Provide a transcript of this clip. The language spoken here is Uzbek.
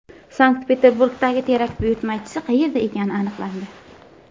Sankt-Peterburgdagi terakt buyurtmachisi qayerda ekani aniqlandi.